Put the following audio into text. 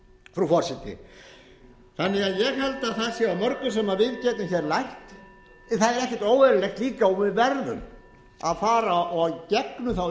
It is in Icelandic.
frú forseti þannig að ég held að það sé af mörgum sem við getum lært það er ekkert óeðlilegt líka og við verðum að fara í gegnum þá